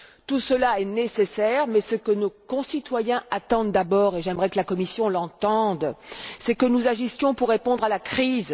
Tout cela est nécessaire, mais ce que nos concitoyens attendent d'abord, et j'aimerais que la Commission l'entende, c'est que nous agissions pour répondre à la crise.